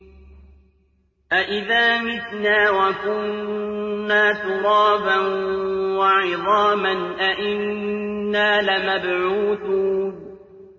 أَإِذَا مِتْنَا وَكُنَّا تُرَابًا وَعِظَامًا أَإِنَّا لَمَبْعُوثُونَ